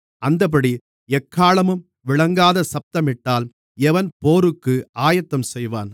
அந்தப்படி எக்காளமும் விளங்காத சத்தமிட்டால் எவன் போருக்கு ஆயத்தம் செய்வான்